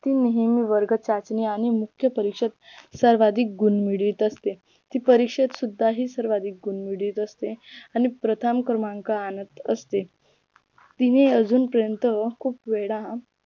ती नेहमी वर्ग चाचणी आणि मुख्य परीक्षेत सर्वाधिक गुण मिळवीत असते ती परीक्षेत सुद्धा ही सर्वाधिक गुण मिळवत असते आणि प्रथम क्रमांक आणत असते तिने अजून पर्यंत खूप वेळा